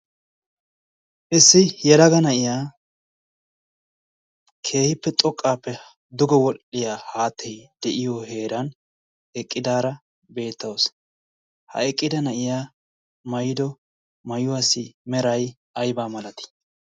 issi yelaga na'iya keehippe xoqaappe duge wodhiya haattay de'iyo heeran eqqidaara beetawusu. ha eqqida na'iyya maayido maayuwassi meray aybaa malatii?